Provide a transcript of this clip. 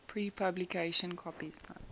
pre publication copies known